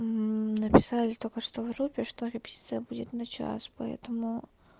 написали только что в группе что репетиция будет на час поэтому